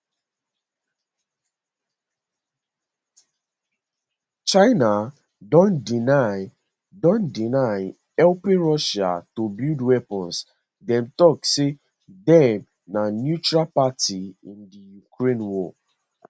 china don deny don deny helping russia to build weapons dem tok say dem na neutral party in di ukraine war